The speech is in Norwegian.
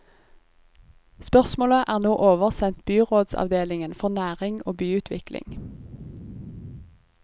Spørsmålet er nå oversendt byrådsavdelingen for næring og byutvikling.